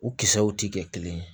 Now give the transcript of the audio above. U kisɛw ti kɛ kelen ye